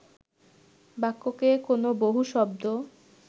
বাক্যকে কোন বহু শব্দ